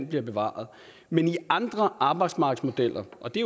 bliver bevaret men i andre arbejdsmarkedsmodeller og det